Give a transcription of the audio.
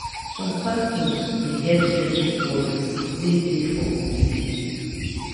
some pastors dey help settle quarrel wey dey for community.